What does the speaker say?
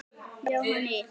Jóhann í